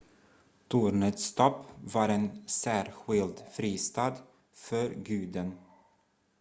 tornets topp var en särskild fristad för guden